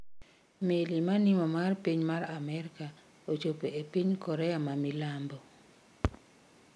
Meli manimo mar piny mar Amerika ochopo e piny mar Korea ma minambo